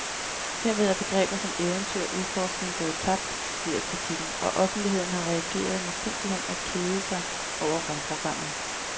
Herved er begreber som eventyr og udforskning gået tabt, lyder kritikken, og offentligheden har reageret med simpelthen at kede sig over rumprogrammet.